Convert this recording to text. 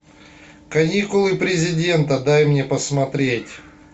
каникулы президента дай мне посмотреть